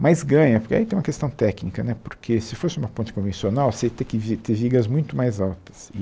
Mas ganha, porque aí tem uma questão técnica né, porque se fosse uma ponte convencional, você ia ter que vi ter vigas muito mais altas e.